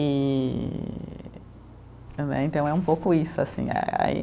E né e então, é um pouco isso assim eh.